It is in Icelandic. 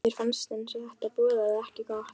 Mér fannst eins og þetta boðaði ekki gott.